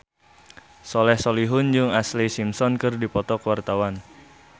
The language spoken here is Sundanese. Soleh Solihun jeung Ashlee Simpson keur dipoto ku wartawan